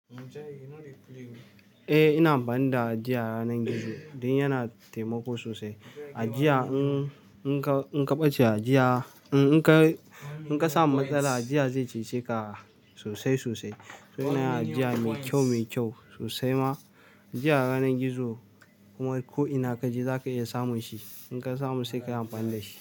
Eh ina amfani da ajiya ranan gizo, dan yana taimako sosai. Ajiya in in ka in ka ɓace a ajiya, in ka in ka samu matsala ajiya ze cece ka sosai sosai. To ina yin ajiya me kyau me kyau sosai ma. Ajiya yanar gizo kuma ko'ina kaje zaka iya samun shi. In ka samu sai ka yi amfani da shi.